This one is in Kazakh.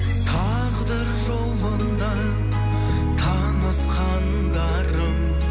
тағдыр жолында танысқандарым